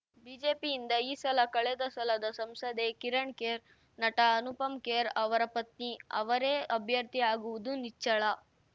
ಬಿಜೆಪಿಯಿಂದ ಈ ಸಲ ಕಳೆದ ಸಲದ ಸಂಸದೆ ಕಿರಣ್‌ ಖೇರ್‌ ನಟ ಅನುಪಮ್‌ ಖೇರ್‌ ಅವರ ಪತ್ನಿ ಅವರೇ ಅಭ್ಯರ್ಥಿ ಆಗುವುದು ನಿಚ್ಚಳ